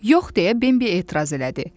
Yox, deyə Bembi etiraz elədi.